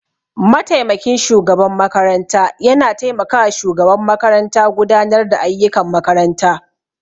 Mataimakin shugaban makaranta ya na taimaka wa shugaban makaranta gudanar da ayyukan makarantar